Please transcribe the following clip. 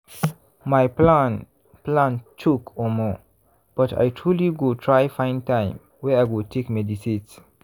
my plan plan choke omo!!! but i truely go try find time wey i go take meditate.